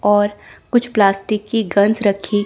और कुछ प्लास्टिक की गंस रखी--